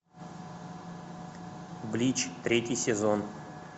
блич третий сезон